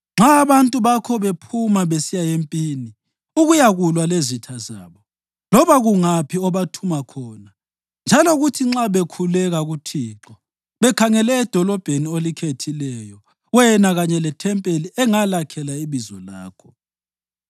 Nxa abantu bakho bephuma besiya empini ukuyakulwa lezitha zabo, loba kungaphi obathuma khona, njalo kuthi nxa bekhuleka kuThixo bekhangele edolobheni olikhethileyo wena kanye lethempelini engalakhela iBizo lakho,